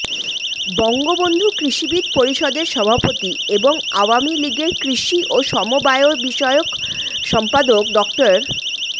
বঙ্গবন্ধু কৃষিবিদ পরিষদের সভাপতি এবং আওয়ামী লীগের কৃষি ও সমবায়বিষয়ক সম্পাদক ড